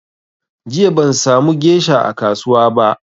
Jiya ban sa mu gesha a kasuwa ba